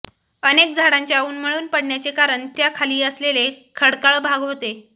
अनेक झाडांच्या उन्मळून पडण्याचे कारण त्या खाली असलेले खडकाळ भाग होते